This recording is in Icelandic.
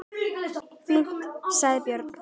Fínt, sagði Björn.